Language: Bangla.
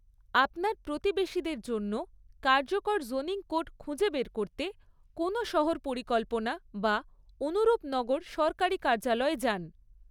আপনার প্রতিবেশীদের জন্য কার্যকর জোনিং কোড খুঁজে বের করতে, কোনও শহর পরিকল্পনা বা অনুরূপ নগর সরকারি কার্যালয়ে যান।